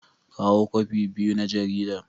Kawo kwafi biyu na jaridar.